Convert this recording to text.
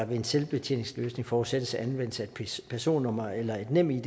ved en selvbetjeningsløsning forudsættes anvendelse af personnummer eller et nemid